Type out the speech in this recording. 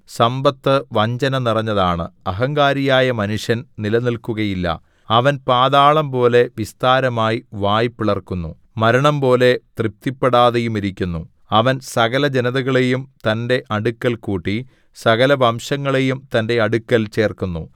സമ്പത്ത് വഞ്ചന നിറഞ്ഞതാണ് അഹങ്കാരിയായ മനുഷ്യൻ നിലനിൽക്കുയില്ല അവൻ പാതാളംപോലെ വിസ്താരമായി വായ് പിളർക്കുന്നു മരണംപോലെ തൃപ്തിപ്പെടാതെയുമിരിക്കുന്നു അവൻ സകലജനതകളെയും തന്റെ അടുക്കൽ കൂട്ടി സകലവംശങ്ങളെയും തന്റെ അടുക്കൽ ചേർക്കുന്നു